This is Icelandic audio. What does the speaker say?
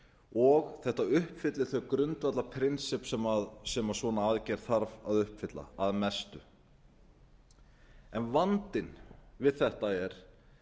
og þetta uppfyllir þau grundvallarprinsipp sem svona aðgerð þarf að uppfylla að mestu en vandinn við þetta er